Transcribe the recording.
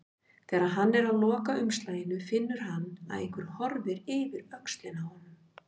Þegar hann er að loka umslaginu finnur hann að einhver horfir yfir öxlina á honum.